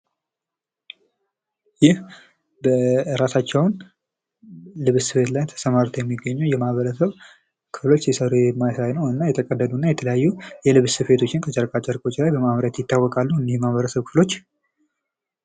ይህ ራሳቸውን በልብስ ስራ ላይ አሰማርተው የሚገኙ የማህበረሰብ ክፍሎች ምስል ሲሆን፤ ሲሰሩ የሚያሳይ እና የተቀደዱ ልብሶችን እንዲሁም የተለያዩ ጨርቆችን ከተለያዩ ልብሶች የሚያመርቱ ማህበረሰቦች ናቸው።